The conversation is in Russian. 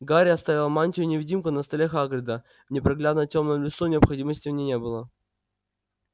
гарри оставил мантию-невидимку на столе хагрида в непроглядно тёмном лесу необходимости в ней не было